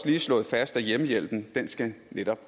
lige slået fast at hjemmehjælpen skal